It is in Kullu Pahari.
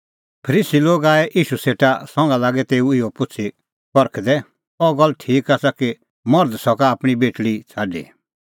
तैबै फरीसी तेऊ सेटा एछी करै परखणां लै पुछ़अ अह गल्ल ठीक आसा कि मर्ध सका आपणीं बेटल़ी छ़ाडी